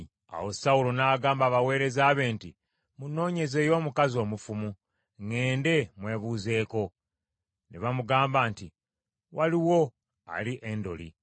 Awo Sawulo n’agamba abaweereza be nti, “Munnoonyezeeyo omukazi omufumu, ŋŋende mmwebuuzeeko.” Ne bamugamba nti, “Waliwo ali Endoli.”